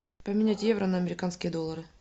поменять евро на американские доллары